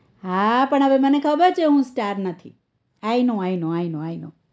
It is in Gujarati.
હા પણ હવે મને ખબર છે હું star નથી i know i know i know i know